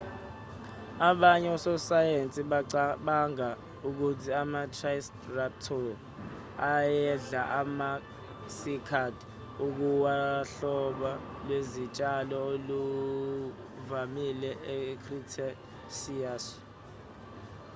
abanye ososayensi bacabanga ukuthi ama-ticeratop ayedla ama-cycad okuwuhlobo lwezitshalo olwaluvamile e-cretaceous